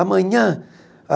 Amanhã?